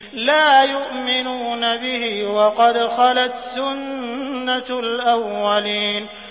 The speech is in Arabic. لَا يُؤْمِنُونَ بِهِ ۖ وَقَدْ خَلَتْ سُنَّةُ الْأَوَّلِينَ